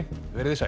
verið þið sæl